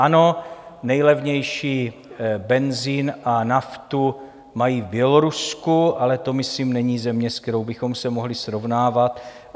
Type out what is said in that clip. Ano, nejlevnější benzin a naftu mají v Bělorusku, ale to myslím není země, se kterou bychom se mohli srovnávat.